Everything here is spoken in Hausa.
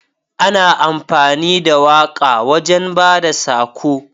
Ana amfani da waƙa wajan bada sako